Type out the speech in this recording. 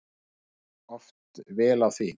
Fer oft vel á því.